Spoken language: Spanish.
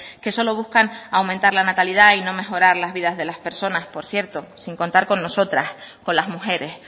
que solo buscan aumentar la natalidad y no mejorar las vidas de las personas por cierto sin contar con nosotras con las mujeres